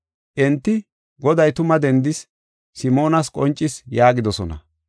Enti, “Goday tuma dendis; Simoonas qoncis” yaagidosona.